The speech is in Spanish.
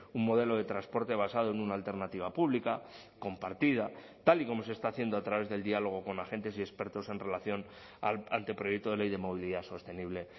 un modelo de transporte basado en una alternativa pública compartida tal y como se está haciendo a través del diálogo con agentes y expertos en relación al anteproyecto de ley de movilidad sostenible